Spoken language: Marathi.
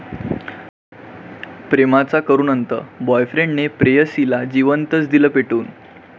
प्रेमाचा करुण अंत, बॉयफ्रेंडने प्रेयसीला जिवंतच दिलं पेटवून